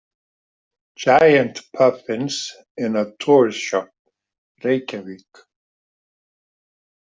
"Giant Puffins in a Tourist Shop ""Reykjavik."